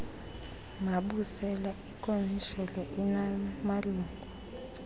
mabusela ikomishoni inamalungu